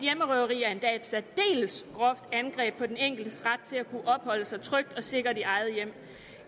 særdeles groft angreb på den enkeltes ret til at kunne opholde sig trygt og sikkert i eget hjem